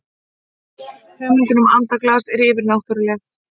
hugmyndin um andaglas er yfirnáttúrleg